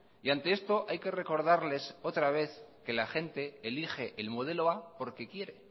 y ante esto hay que recordarles otra vez que la gente elige el modelo a porque quiere